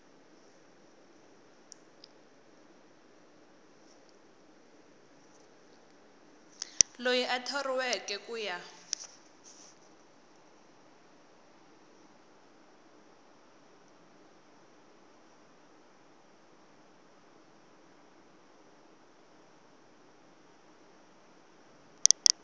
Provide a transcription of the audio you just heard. loyi a thoriweke ku ya